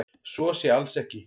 Svo sé alls ekki